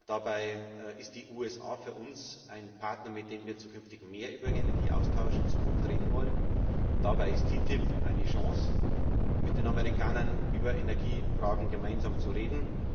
Dabei sind die USA für uns ein Partner, mit dem wir zukünftig mehr über Energieaustausch reden wollen. Dabei ist TTIP eine Chance, mit den Amerikanern über Energiefragen gemeinsam zu reden.